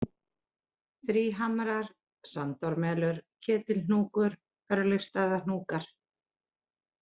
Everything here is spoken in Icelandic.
Þríhamrar, Sandármelur, Ketilhnúkur, Örlygsstaðahnúkar